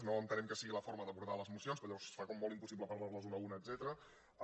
no entenem que sigui la forma d’abordar les mocions perquè llavors es fa com molt impossible parlar·ne d’una a una etcètera